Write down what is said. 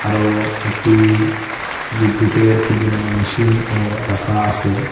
আরো একটি বিদ্যুতের কি যেন মেশিনও রাখা আসে ।